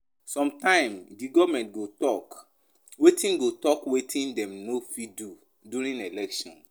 Sometimes di government go talk wetin go talk wetin dem no fit do during election